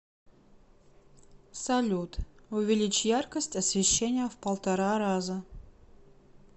салют увеличь яркость освещения в полтора раза